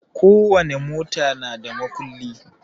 Ko wani mota na da makulli